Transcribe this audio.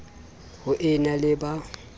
ho e na le ba